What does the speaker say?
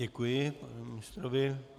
Děkuji panu ministrovi.